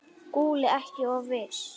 SKÚLI: Ekki of viss!